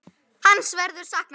Hans verður saknað.